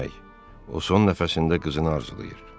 O son nəfəsində qızını arzulayır.